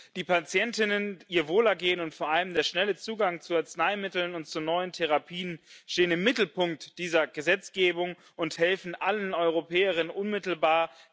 Die Patientinnen, ihr Wohlergehen und vor allem der schnelle Zugang zu Arzneimitteln und zu neuen Therapien stehen im Mittelpunkt dieser Gesetzgebung und helfen allen Europäerinnen und Europäern unmittelbar.